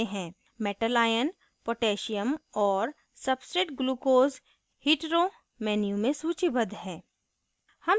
metal ion potassium और substrate glucose hetero menu में सूचीबद्ध हैं